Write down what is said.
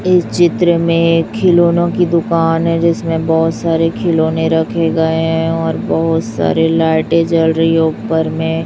इस चित्र में खिलौनों की दुकान है जिसमें बहोत सारे खिलौने रखे गए हैं और बहुत सारे लाइटे जल रही है ऊपर में।